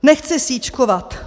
Nechci sýčkovat.